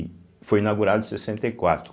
E foi inaugurado em sessenta e quatro.